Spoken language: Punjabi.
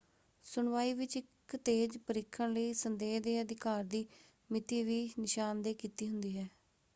ਸੁਣਵਾਈ ਵਿੱਚ ਇੱਕ ਤੇਜ਼ ਪਰੀਖਣ ਲਈ ਸੰਦੇਹ ਦੇ ਅਧਿਕਾਰ ਦੀ ਮਿਤੀ ਵੀ ਨਿਸ਼ਾਨਦੇਹ ਕੀਤੀ ਹੁੰਦੀ ਹੈ।